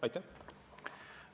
Aitäh!